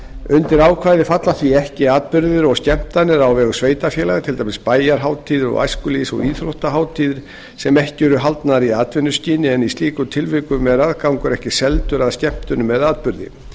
undir ákvæðið falla því ekki atburðir og skemmtanir á vegum sveitarfélaga til dæmis bæjarhátíðir og æskulýðs og íþróttahátíðir sem ekki eru haldnar í atvinnuskyni en í slíkum tilvikum er aðgangur ekki seldur að skemmtun eða atburði